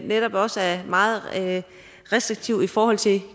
netop også er meget restriktiv i forhold til